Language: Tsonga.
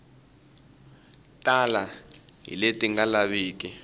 tala hi leti nga lavikiki